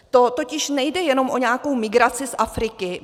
To totiž nejde jenom o nějakou migraci z Afriky.